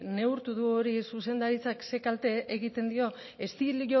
neurtu du hori zuzendaritzak ze kalte egiten dio estilo